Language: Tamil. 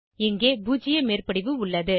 இங்கே பூஜ்ஜிய மேற்படிவு உள்ளது